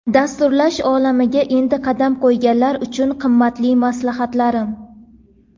Dasturlash olamiga endi qadam qo‘yganlar uchun qimmatli maslahatlarim.